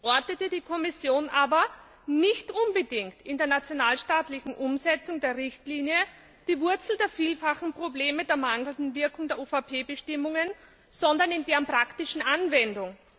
ortete die Kommission aber nicht unbedingt in der nationalstaatlichen Umsetzung der Richtlinie die Wurzel der vielfachen Probleme der mangelnden Wirkung der UVP Bestimmungen, sondern in deren praktischen Anwendung.